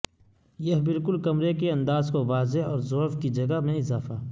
یہ بالکل کمرے کے انداز کو واضح اور ضعف کی جگہ میں اضافہ